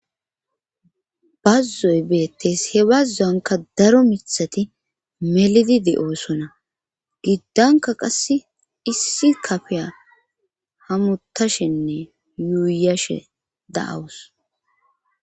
bazzoy beettes he bazzuanka daro mithati melidide7oosona giddanka qass issi kafeya hamutashenne yuuyashe da7awus